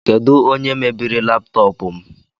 Kedu onye mebiri laptọọpụ m?